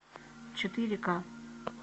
четыре ка